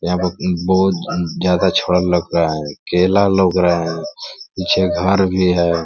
यहाँ पर बहोत ज्यादा छड़ लग रहा है केला लउक रहा है पीछे घर भी है।